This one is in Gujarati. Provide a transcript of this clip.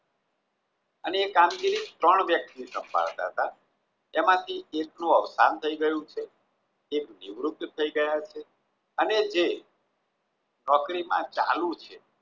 અને તે કામગીરી ત્રણ વ્યક્તિ સંભાળતા હતા એમાંથી એકનું અવસાન થઈ ગયું છે એક નિવૃત થઈ ગયા છે અને જે નોકરીમાં ચાલુ છે